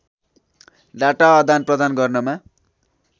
data आदानप्रदान गर्नमा